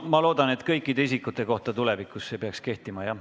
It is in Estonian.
Ma loodan, et see tulevikus kehtib kõikide isikute kohta.